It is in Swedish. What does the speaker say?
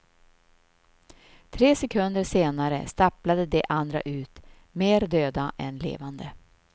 Tre sekunder senare stapplade de andra ut, mer döda än levande.